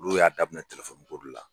Olu y'a daminɛ tɛlɛfɔni koden la